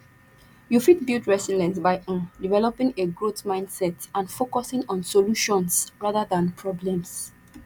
you fit build resilience by um developing a growth mindset and focusing on solutions rather than problems